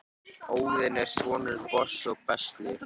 óðinn er sonur bors og bestlu